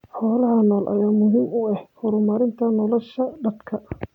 Xoolaha nool ayaa muhiim u ah horumarinta nolosha dadka.